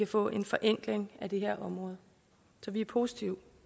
få en forenkling af det her område så vi er positive